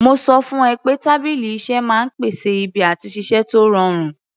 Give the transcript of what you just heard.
Mo sọ fún ẹ pé tábìlì iṣẹ́ máa ń pèsè ibi àti ṣiṣẹ́ tó rọrùn